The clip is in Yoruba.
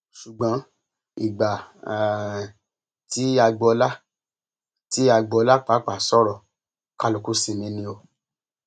ṣùgbọn ìgbà um tí agboola tí agboola pàápàá sọrọ kálukú sinmi ni o